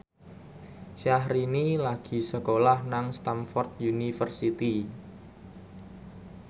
Syahrini lagi sekolah nang Stamford University